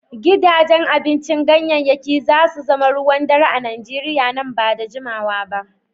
Gidajen abincin ganyayyaki za su zama ruwan dare a Nigeriya nan ba da jimawa ba.